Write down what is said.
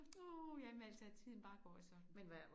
Åh jamen altså at tiden bare går sådan